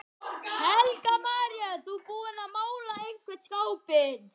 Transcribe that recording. Helga María: Þú búinn að mála einhvern skápinn?